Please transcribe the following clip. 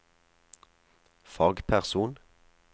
fagperson